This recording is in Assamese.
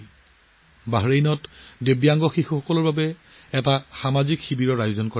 বাহৰেইনত প্ৰতিবন্ধী শিশুৰ বাবে এটা বিশেষ শিবিৰৰ আয়োজন কৰা হৈছিল